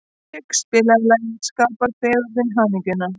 Hinrik, spilaðu lagið „Skapar fegurðin hamingjuna“.